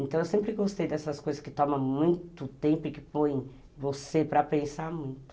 Então eu sempre gostei dessas coisas que tomam muito tempo e que põem você para pensar muito.